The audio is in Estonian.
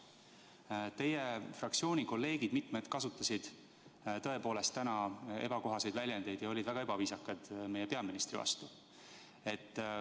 Mitmed teie fraktsiooni kolleegid kasutasid tõepoolest täna ebakohaseid väljendeid ja olid väga ebaviisakad meie peaministri vastu.